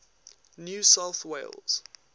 new south wales